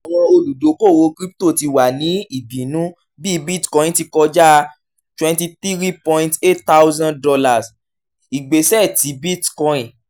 awọn oludokoowo crypto ti wa ni ibinu bi bitcoin ti kọja enty three point eight thousand dollars igbesẹ ti bitcoin